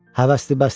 Həvəsdə bəsdir.